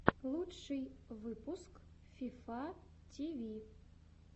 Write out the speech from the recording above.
лучший выпуск фифа ти ви